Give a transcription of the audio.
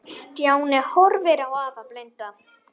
Stjáni horfði á afa blinda.